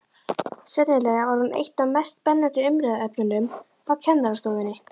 Sennilega var hún eitt af mest spennandi umræðuefnunum á kennarastofunni.